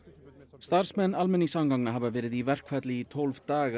starfsmenn almenningssamgangna hafa verið í verkfalli í tólf daga